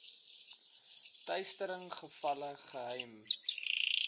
teistering gevalle geheim